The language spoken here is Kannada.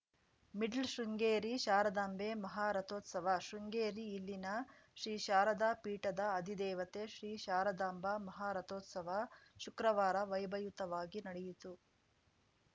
ಮಿಡ್ಲ್ ಶೃಂಗೇರಿ ಶಾರದಾಂಬೆ ಮಹಾರಥೋತ್ಸವ ಶೃಂಗೇರಿ ಇಲ್ಲಿನ ಶ್ರೀ ಶಾರದಾ ಪೀಠದ ಅಧಿದೇವತೆ ಶ್ರೀ ಶಾರದಾಂಬಾ ಮಹಾರಥೋತ್ಸವ ಶುಕ್ರವಾರ ವೈಭವಯುತವಾಗಿ ನಡೆಯಿತು